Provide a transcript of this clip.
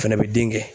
O fɛnɛ bɛ den kɛ